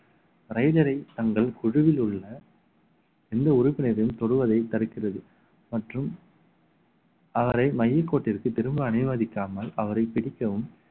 raider ஐ தங்கள் குழுவில் உள்ள எந்த உறுப்பினரையும் தொடுவதை தடுக்கிறது மற்றும் அவரை மையக் கோட்டிற்கு திரும்ப அனுமதிக்காமல் அவரை பிடிக்கவும்